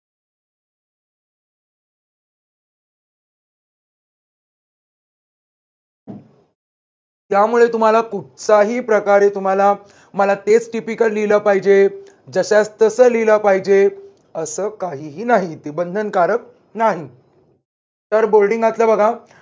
त्यामुळे तुम्हाला कुठचाही प्रकारे तुम्हाला मला तेच typical लिहिलं पाहिजे. जश्यास तस लिहिलं पाहिजे. असं काहीही नाही ते बंदनकारक नाही. तर boarding तल बघा.